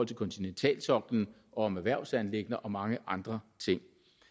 til kontinentalsoklen om erhvervsanliggender og mange andre ting